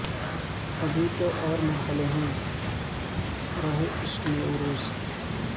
ابھی تو اور مرحلے ہیں راہ عشق میں عروج